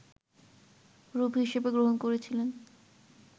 রূপ হিসেবে গ্রহণ করেছিলেন